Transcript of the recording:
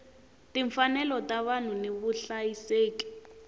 timfanelo ta vanhu ni vuhlayiseki